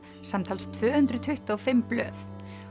samtals tvö hundruð tuttugu og fimm blöð